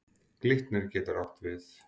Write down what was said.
Glitnir getur átt við